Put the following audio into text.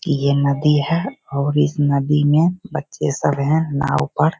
ये नदी है और इस नदी मे बच्चे सब है नाव पर --